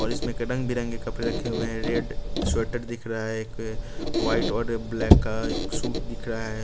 और इसमें एक रंग-बिरंग के कपड़े रखे हुए हैं रेड स्वेटर दिख रहा है एक वाइट और ब्लैक का एक सूट दिख रहा है।